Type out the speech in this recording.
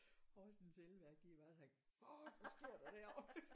Horsens elværk de har bare sagt fuck hvad sker der derovre